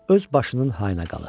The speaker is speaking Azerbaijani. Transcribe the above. Öz başının hayına qalır.